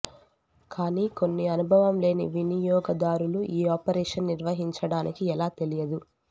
కానీ కొన్ని అనుభవం లేని వినియోగదారులు ఈ ఆపరేషన్ నిర్వహించడానికి ఎలా తెలియదు